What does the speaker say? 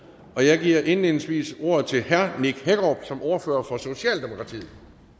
jeg giver indledningsvis ordet til herre nick hækkerup som ordfører for socialdemokratiet